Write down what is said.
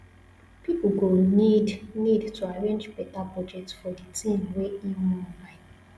person go need need to arrange better budget for di thing wey im wan buy